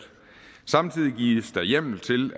samtidig gives der hjemmel til